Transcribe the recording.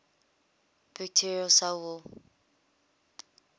bacterial cell wall